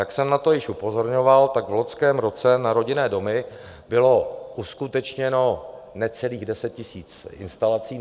Jak jsem na to už upozorňoval, tak v loňském roce na rodinné domy bylo uskutečněno necelých 10 000 instalací.